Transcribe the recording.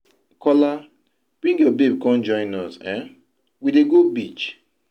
Kola, bring your babe come join us, um we dey go beach.